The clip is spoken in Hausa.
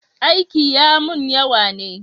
Aiki ya mun yawa ne